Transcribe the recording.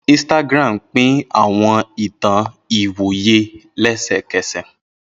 Instagram pín àwọn ìtàn ìwòye lẹ́sẹ̀kẹ̀sẹ̀.